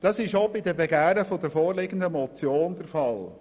Das ist auch bei den Begehren der vorliegenden Motion der Fall.